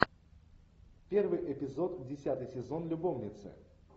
первый эпизод десятый сезон любовницы